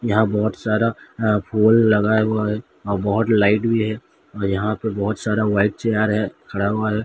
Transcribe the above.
यहां बहुत सारा अं फूल लगा हुआ है और बहुत लाइट भी है और यहां पे बहुत सारा व्हाइट चेयर है खड़ा हुआ है।